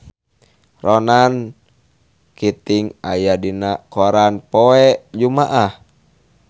Ronan Keating aya dina koran poe Jumaah